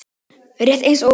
Rétt eins og ég.